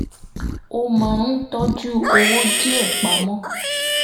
ó máa ń tọ́jú owó díẹ̀ pa mọ́